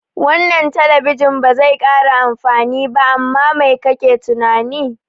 Wannan talabijin bazai kara amfani ba, amma mai kake tunani?